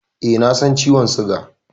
E, na san ciwon suga.